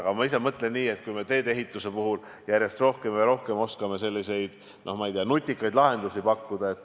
Aga ma ise mõtlen nii, et on hea, kui me teedeehituses oskame järjest rohkem ja rohkem selliseid, ma ei tea, nutikaid lahendusi pakkuda.